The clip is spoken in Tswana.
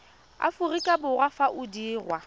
aforika borwa fa o dirwa